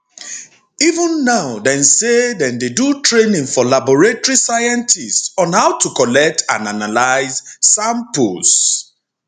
even now dem say dem dey do training for laboratory scientists on how to collect and analyse samples